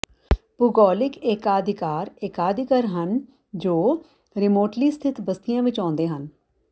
ਭੂਗੋਲਿਕ ਏਕਾਧਿਕਾਰ ਏਕਾਧਿਕਾਰ ਹਨ ਜੋ ਰਿਮੋਟਲੀ ਸਥਿਤ ਬਸਤੀਆਂ ਵਿੱਚ ਆਉਂਦੇ ਹਨ